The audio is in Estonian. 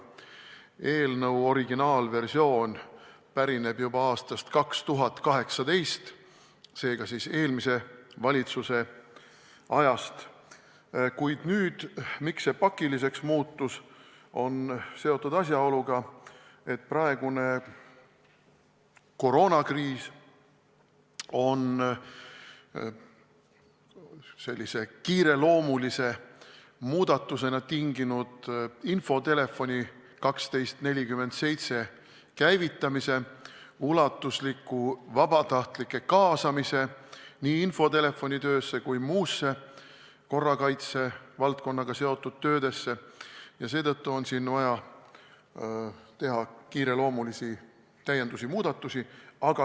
Eelnõu originaalversioon pärineb juba aastast 2018, seega eelmise valitsuse ajast, kuid nüüd muutus see pakiliseks seoses asjaoluga, et praegune koroonakriis on kiireloomulise muudatusena tinginud infotelefoni 1247 käivitamise ja ulatusliku vabatahtlike kaasamise nii infotelefoni töösse kui ka muudesse korrakaitse valdkonnaga seotud töödesse ning seetõttu on siin vaja teha kiireloomulisi täiendusi-muudatusi.